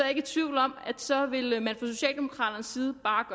ikke i tvivl om at så ville man fra socialdemokraternes side bare